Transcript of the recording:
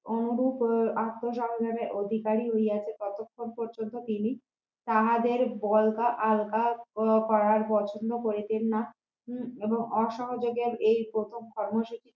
অনুরূপ আক্রোশ আহবানে অধিকারী হইয়াছে তখনও পর্যন্ত তিনি তাহাদের বলগা আলগা করার পছন্দ করিতেন না হম এবং অসহযোগের এই প্রথম কর্মশিক্ষা